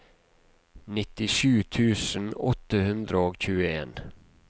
nittisju tusen åtte hundre og tjueen